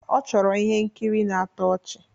Ọ chọrọ ihe nkiri na-atọ ọchị